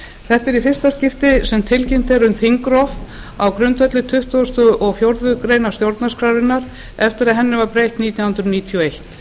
þetta er í fyrsta skipti sem tilkynnt er um þingrof á grundvelli tuttugasta og fjórðu grein stjórnarskrárinnar eftir að henni var breytt nítján hundruð níutíu og eitt